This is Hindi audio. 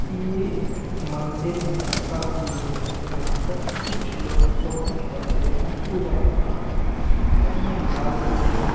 यह एक मंदिर का व्यू है जहां पर कुछ लोग फोटो खींच रहे हैं पूजा के बाद सबने लाल कलर की--